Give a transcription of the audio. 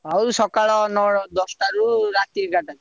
ହଉ ସକାଳୁ ନଅ ଦଶଟାରୁ ରାତି ଏଗରେଟା।